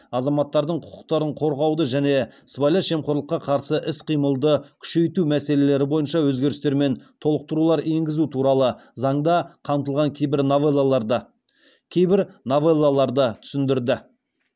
азаматтардың құқықтарын қорғауды және сыбайлас жемқорлыққа қарсы іс қимылды күшейту мәселелері бойынша өзгерістер мен толықтырулар енгізу туралы қамтылған кейбір новеллаларды түсіндірді